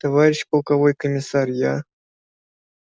товарищ полковой комиссар я